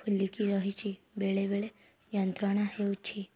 ଫୁଲିକି ରହଛି ବେଳେ ବେଳେ ଯନ୍ତ୍ରଣା ହେଉଛି